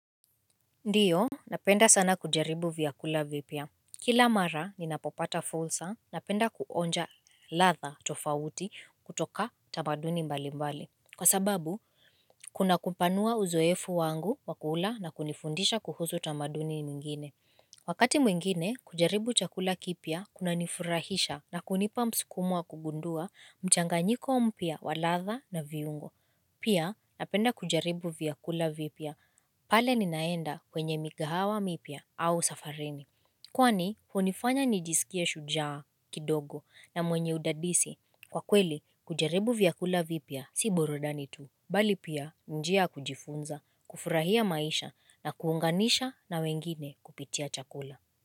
Ndio napenda sana kujaribu vyakula vipya Kila mara ninapopata fursa napenda kuonja ladha tofauti kutoka tamaduni mbali mbali Kwa sababu kuna kupanua uzoefu wangu wa kula na kunifundisha kuhuzu tamaduni mwingine Wakati mwingine kujaribu chakula kipya kunanifurahisha na kunipa msukumo wa kugundua mchanganyiko mpya wa ladha na viungo Pia napenda kujaribu vyakula vipya pale ninaenda kwenye mikahawa mipya au safarini Kwani hunifanya nijisikie shujaa kidogo na mwenye udadisi kwa kweli kujaribu vyakula vipya si burudani tu Bali pia njia kujifunza kufurahia maisha na kuunganisha na wengine kupitia chakula.